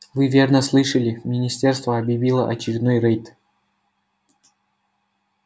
вы верно слышали министерство объявило очередной рейд